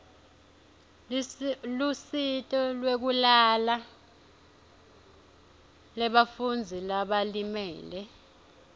lusito lwekulala lebafundzi labalimele